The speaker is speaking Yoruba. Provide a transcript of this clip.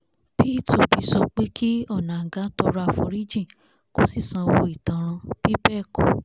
pit obi sọ pé kí onáńgá tọrọ àforíjì kó sì sanwó ìtanràn bí bẹ́ẹ̀ kọ́